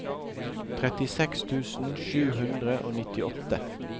trettiseks tusen sju hundre og nittiåtte